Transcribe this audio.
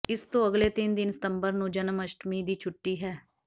ਇਸ ਤੋਂ ਅਗਲੇ ਦਿਨ ਤਿੰਨ ਸਤੰਬਰ ਨੂੰ ਜਨਮਅਸ਼ਟਮੀ ਦੀ ਛੱੁਟੀ ਹੈ